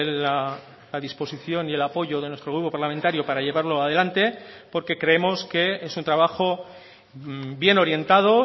la disposición y el apoyo de nuestro grupo parlamentario para llevarlo adelante porque creemos que es un trabajo bien orientado